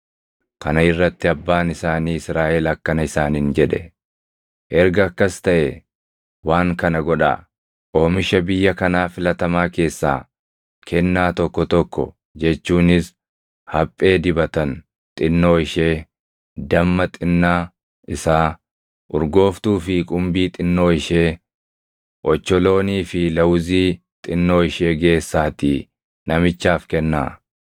Kana irratti abbaan isaanii Israaʼel akkana isaaniin jedhe; “Erga akkas taʼee waan kana godhaa; oomisha biyya kanaa filatamaa keessaa kennaa tokko tokko jechuunis haphee dibatan xinnoo ishee, damma xinnaa isaa, urgooftuu fi qumbii xinnoo ishee, ocholoonii fi lawuzii xinnoo ishee geessaatii namichaaf kennaa.